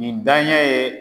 Nin daɲɛ ye